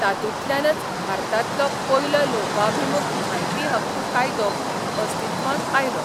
तातूंतल्यानच भारतांतलो पयलो लोकाभिमूख म्हायती हक्क कायदो अस्तित्वांत आयलो.